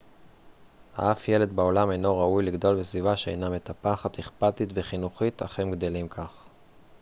אף ילד בעולם אינו ראוי לגדול בסביבה שאינה מטפחת אכפתית וחינוכית אך הם גדלים כך